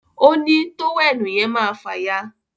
òní tówẹ́ẹ̀nù yen máa fàya